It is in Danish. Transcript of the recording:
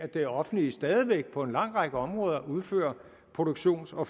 at det offentlige stadig væk på en lang række områder udfører produktions og